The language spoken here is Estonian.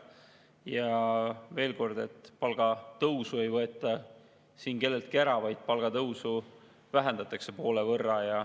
Ja veel kord: palgatõusu ei võeta siin kelleltki ära, palgatõusu vähendatakse poole võrra.